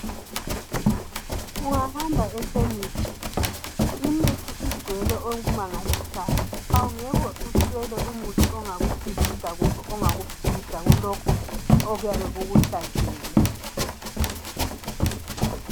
Ungahamba ekhemisi imithi igcwele okumangalisayo awungeke uswele umuthi onga kusilisa kumbe ongakuphilisa kulokhu okuyabe kukuhlasele.